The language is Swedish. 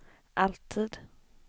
alltid